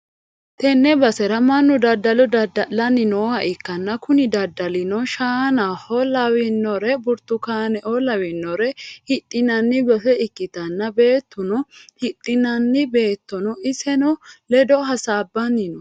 tenne basera mannu daddalo dadda'lanni nooha ikkanna, kuni daddalino shaanao lawinore burtukaaneo lawinore hidhinanni base ikkanna, beetuno hidhanna beetono isinni ledo hasabbanni no.